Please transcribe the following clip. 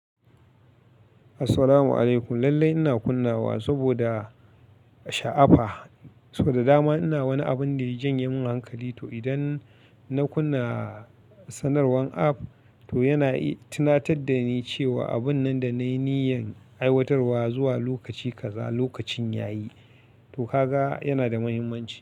Assalamu alaikum. Lallai ina kunnawa saboda sha'afa, soda dama ina wani abun da ya janye mun hankali. To, idan na kunna sanarwan app to yana tunatar da ni cewa abun nan da na yi niyyan aiwatarwa zuwa lokaci kaza, lokacin yayi. To, kaga yana da muhimmanci.